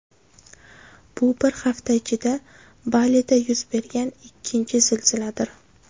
Bu bir hafta ichida Balida yuz bergan ikkinchi zilziladir.